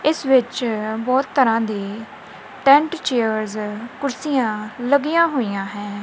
ਇੱਸ ਵਿੱਚ ਬਹੁਤ ਤਰਹਾਂ ਦੀ ਟੈਂਟ ਚੇਅਰਜ਼ ਕੁਰਸੀਆਂ ਲੱਗੀਆਂ ਹੋਈਆਂ ਹੈਂ।